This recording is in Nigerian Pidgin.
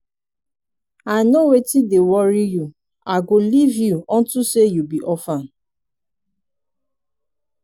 i know wetin dey worry you i go leave you unto say you be orphan.